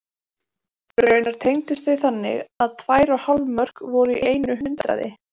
Raunar tengdust þau þannig að tvær og hálf mörk voru í einu hundraði.